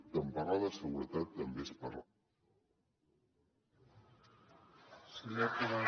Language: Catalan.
per tant parlar de seguretat també és parlar